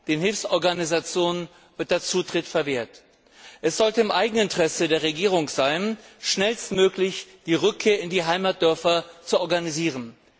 Den Hilfsorganisationen wird der Zutritt verwehrt. Es sollte im eigenen Interesse der Regierung sein, schnellstmöglich die Rückkehr in die Heimatdörfer zu organisieren.